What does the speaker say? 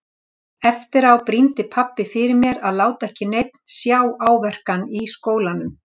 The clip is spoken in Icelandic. Eftir á brýndi pabbi fyrir mér að láta ekki neinn sjá áverkann í skólanum.